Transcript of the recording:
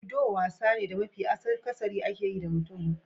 Ludo wasa ne da mafi akasari ake yi da mutum hudu.